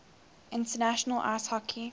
international ice hockey